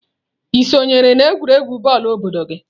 Ị sonyere n'egwuregwu bọọlụ obodo gị?"